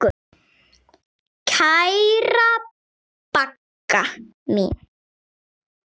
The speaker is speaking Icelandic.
Kæra Bagga mín.